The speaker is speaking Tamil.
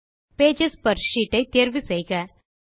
பேஜஸ் பெர் ஷீட் ஐ தேர்வு செய்க